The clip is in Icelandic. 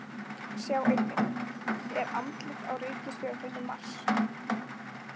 Sjá einnig: Er andlit á reikistjörnunni Mars?